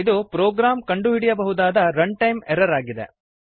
ಇದು ಪ್ರೋಗ್ರಾಂ ಕಂಡುಹಿಡಿಯಬಹುದಾದ run time error ಆಗಿದೆ